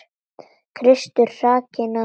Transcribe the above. Kristur hrakinn og hæddur.